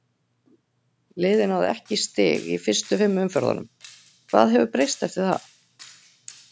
Liðið náði ekki í stig í fyrstu fimm umferðunum, hvað hefur breyst eftir það?